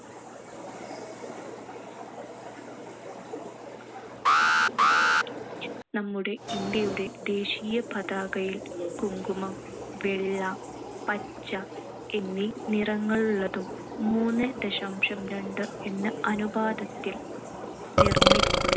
നമ്മുടെ ഇന്ത്യയുടെ ദേശീയ പതാകയിൽ കുങ്കുമം, വെള്ള, പച്ച എന്നീ നിറങ്ങളുള്ളതും മൂന്ന് ദശാംശം രണ്ട് എന്ന അനുപാതത്തിൽ നിർമ്മി~